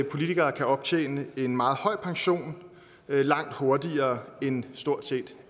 politikere kan optjene en meget høj pension langt hurtigere end stort set